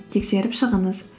тексеріп шығыңыз